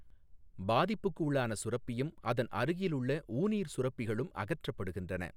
பாதிப்புக்குள்ளான சுரப்பியும் அதன் அருகிலுள்ள ஊநீர் சுரப்பிகளும் அகற்றப்படுகின்றன.